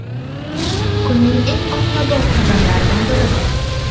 Kunning eng ommabop xabarlaridan biri bu.